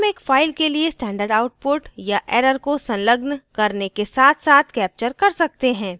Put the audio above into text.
हम एक file के लिए standard output या error को संलग्न करने के साथसाथ capture कर सकते हैं